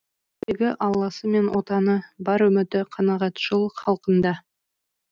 тірегі алласы мен отаны бар үміті қанағатшыл халқында